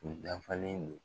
U dafalen don